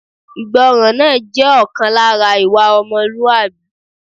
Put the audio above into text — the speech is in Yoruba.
Ìgbọràn náà jẹ́ ọ̀kan lára ìwà ọmọlúwàbí